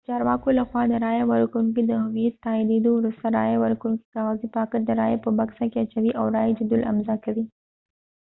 د چارواکو لخوا د رایه ورکوونکي د هویت د تائیدیدو ورسته رایه ورکوونکي کاغذي پاکټ د رائی په بکسه کې اچوي او رایې جدول امضاء کوي